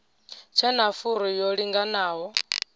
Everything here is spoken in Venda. tshe na furu yo linganaho